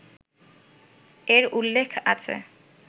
এর উল্লেখ আছে